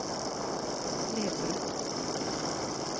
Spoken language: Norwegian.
nedbrutt